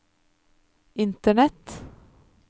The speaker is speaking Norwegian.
internett